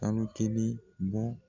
kalo kelen bɔ.